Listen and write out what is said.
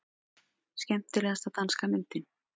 Skemmtilegasta danska myndin